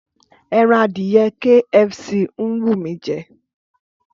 Ẹran adìyẹ KFC ń wù mí jẹ